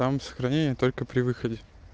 там сохранение только при выходе